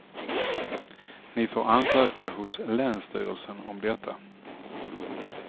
Ni får ansöka hos länsstyrelsen om detta.